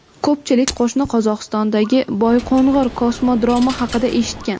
Ko‘pchilik qo‘shni Qozog‘istondagi Boyqo‘ng‘ir kosmodromi haqida eshitgan.